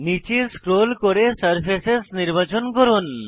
নীচে স্ক্রোল করে সারফেসেস নির্বাচন করুন